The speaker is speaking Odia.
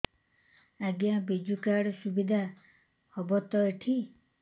ଆଜ୍ଞା ବିଜୁ କାର୍ଡ ସୁବିଧା ହବ ତ ଏଠି